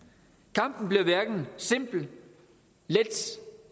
kampen bliver hverken simpel let